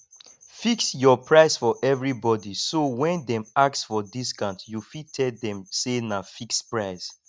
fix your price for everybody so when dem ask for discount you fit tell dem say na fixed price